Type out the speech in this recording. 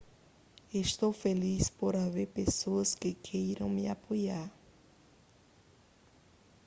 estou feliz por haver pessoas que queiram me apoiar